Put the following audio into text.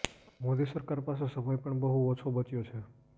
મોદી સરકાર પાસે સમય પણ બહુ ઓછો બચ્યો છે